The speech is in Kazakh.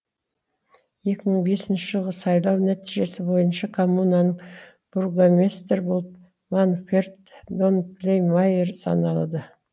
екі мың бесінші жылғы сайлау нәтижесі бойынша коммунаның бургомистрі болып манферд донклемайер саналады